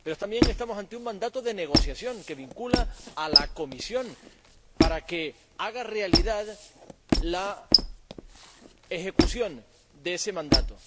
Pero también estamos ante un mandato de negociación que vincula a la Comisión, para que haga realidad la ejecución de ese mandato.